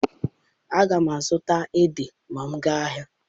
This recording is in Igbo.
Aga m azụta ede ma m gaa ahịa.